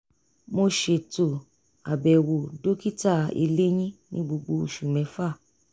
mo ṣètò àbẹ̀wò dokita eléyín ní gbogbo oṣù mẹ́fà